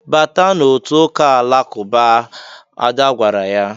"Bata n'otu ụka Alakụba! " Ada gwara di ya.